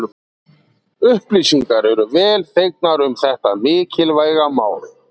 Upplýsingar eru vel þegnar um þetta mikilvæga mál.